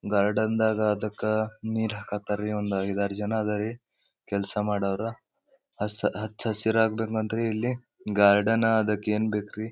ಗಾರ್ಡೆನ್ದಾಗ ಅದಕ್ಕ ನೀರ್ ಹಾಕಾಕತಾರರಿ ಒಂದ್ ಐದಾರ್ ಜನ ಇದರಿ ಕೆಲಸ ಮಾದವರು ಹಸಿರು ಹಚ್ಚಸಿರು ಆಗದೆ ರೀ ಇಲ್ಲಿ ಗಾರ್ಡನ್ ಅದ್ದಕ್ಕೆ ಯೆನಬೇಕ್ರಿ.